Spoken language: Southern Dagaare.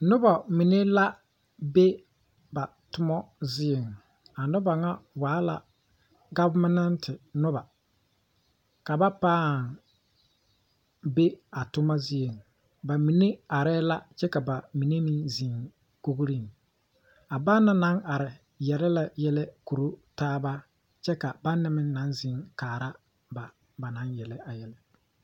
Nobɔ mine la be ba tommo zieŋ a nobɔ ŋa waa la gɔvemɛnte nobɔ ka ba pãã be a tomma zieŋ ba mine areɛɛ la kyɛ ka ba mine meŋ zeŋ kogreŋ a ba naŋ naŋ are yele yɛlɛ Koro taaba kyɛ ka baŋ na meŋ naŋ zeŋ kaara ba ba naŋ Yele a yɛlɛ.